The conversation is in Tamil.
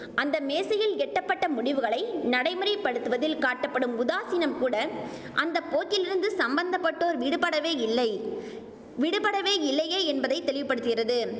அந்த மேசையில் எட்டப்பட்ட முடிவுகளை நடைமுறைப்படுத்துவதில் காட்டப்படும் உதாசீனம் கூட அந்த போக்கிலிருந்து சம்பந்தப்பட்டோர் விடுபடவேயில்லை விடுபடவேயில்லையே என்பதை தெளிவுபடுத்துகிறது